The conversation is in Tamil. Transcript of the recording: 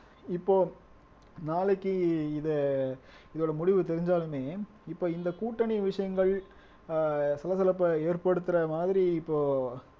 இப்போ நாளைக்கு இதை இதோட முடிவு தெரிஞ்சாலுமே இப்ப இந்த கூட்டணி விஷயங்கள் ஆஹ் சலசலப்பை ஏற்படுத்துற மாதிரி இப்போ